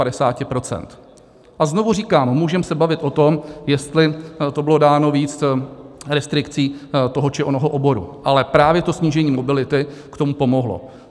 A znovu říkám, můžeme se bavit o tom, jestli to bylo dáno víc restrikcí toho či onoho oboru, ale právě to snížení mobility k tomu pomohlo.